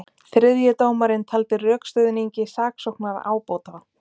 Þriðji dómarinn taldi rökstuðningi saksóknara ábótavant